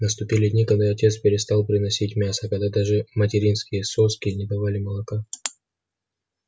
наступили дни когда отец перестал приносить мясо когда даже материнские соски не давали молока